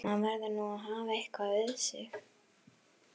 Maður verður nú að hafa eitthvað við sig!